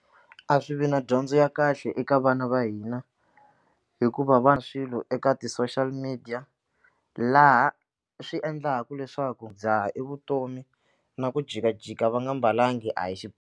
A swi vi na dyondzo ya kahle eka vana va hina hikuva va swilo eka ti-social media laha swi endlaku leswaku dzaha i vutomi na ku jikajika va nga mbalanga a hi xi.